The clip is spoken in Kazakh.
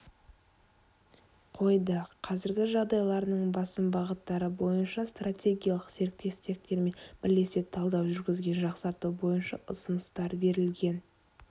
қойды қазіргі жағдайларының басым бағыттары бойынша стратегиялық серіктестермен бірлесе талдау жүргізген жақсарту бойынша ұсыныстар берілген